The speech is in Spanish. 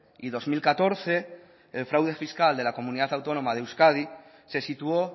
y dos mil catorce el fraude fiscal de la comunidad autónoma de euskadi se situó